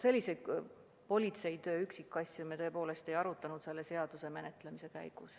Selliseid politseitöö üksikasju me tõepoolest ei arutanud selle seaduseelnõu menetlemise käigus.